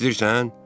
eşidirsən?